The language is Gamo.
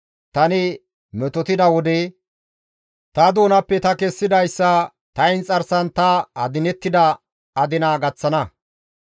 Tani metotida wode ta doonappe ta kessidayssa ta inxarsan ta adinettida adina ta gaththana.